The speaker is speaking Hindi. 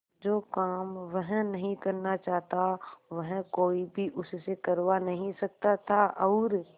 जो काम वह नहीं करना चाहता वह कोई भी उससे करवा नहीं सकता था और